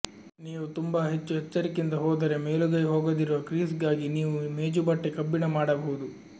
ನೀವು ತುಂಬಾ ಹೆಚ್ಚು ಎಚ್ಚರಿಕೆಯಿಂದ ಹೋದರೆ ಮೇಲುಗೈ ಹೋಗದಿರುವ ಕ್ರೀಸ್ಗಾಗಿ ನೀವು ಮೇಜುಬಟ್ಟೆ ಕಬ್ಬಿಣ ಮಾಡಬಹುದು